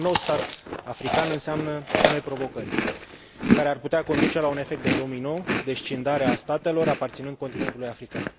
Un nou stat african înseamnă și noi provocări, care ar putea conduce la un efect de domino, de scindare a statelor aparținând continentului african.